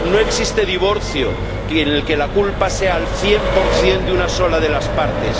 No existe divorcio en el que la culpa sea al cien por cien de una sola de las partes.